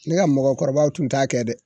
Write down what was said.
Ne ka mɔgɔkɔrɔbaw tun t'a kɛ dɛ